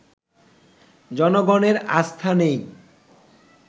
জনগণের আস্থা নেই